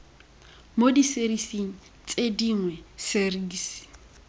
mo diserising tse dingwe serisi